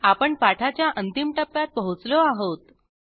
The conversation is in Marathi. आपण पाठाच्या अंतिम टप्प्यात पोहोचलो आहोत